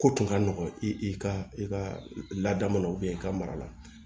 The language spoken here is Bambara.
Ko tun ka nɔgɔn i ka i ka laada mana i ka mara la